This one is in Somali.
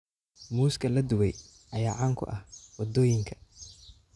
Muuska la dubay ayaa caan ku ah waddooyinka.